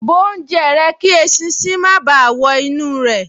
Bó oúnjẹ rẹ kí eṣinṣin má báà wọ inú rẹ̀